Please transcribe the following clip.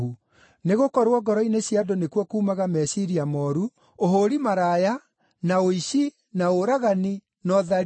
Nĩgũkorwo ngoro-inĩ cia andũ nĩkuo kuumaga meciiria mooru, ũhũũri maraya, na ũici, na ũragani, na ũtharia,